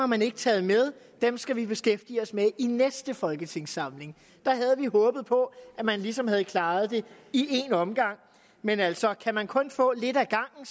man ikke taget med dem skal vi beskæftige os med i næste folketingssamling der havde vi håbet på at man ligesom havde klaret det i en omgang men altså kan man kun få lidt ad gangen